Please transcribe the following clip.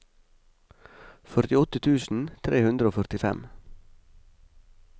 førtiåtte tusen tre hundre og førtifem